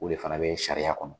O de fana bɛ sariya kɔnɔ